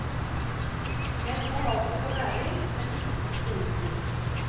Jeg tror altså på læring, men ikke på skrivekurs.